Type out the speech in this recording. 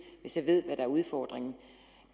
hvis jeg ved hvad der er udfordringen